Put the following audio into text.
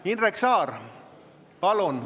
Indrek Saar, palun!